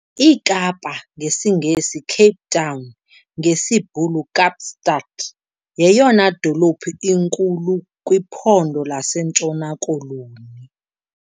iKapa, ngesiNgesi - "Cape Town", ngesiBhulu - "Kaapstad", yeyona dolophu inkulu kwiPhondo lasentshona-Koloni.